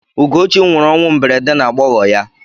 Ugochi nwụrụ ọnwụ mberede n'agbọghọ ya.